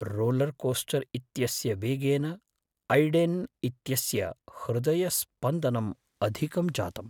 Roller coaster इत्यस्य वेगेन Aiden इत्यस्य हृदयस्पन्दनम् अधिकं जातम्।